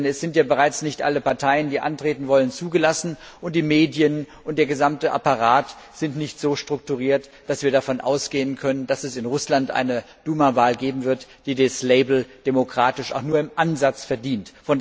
Denn es sind ja bereits nicht alle Parteien, die antreten wollen, zugelassen, und die Medien und der gesamte Apparat sind nicht so strukturiert, dass wir davon ausgehen können, dass es in Russland eine Duma Wahl geben wird, die das Label demokratisch auch nur im Ansatz verdient.